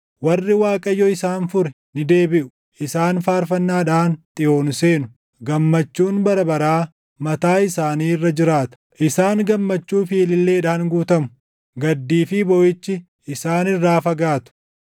Warri Waaqayyo isaan fure ni deebiʼu. Isaan faarfannaadhaan Xiyoon seenu; gammachuun bara baraa mataa isaanii irra jiraata. Isaan gammachuu fi ililleedhaan guutamu; gaddii fi booʼichi isaan irraa fagaatu.